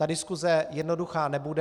Ta diskuse jednoduchá nebude.